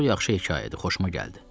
Çox yaxşı hekayədir, xoşuma gəldi.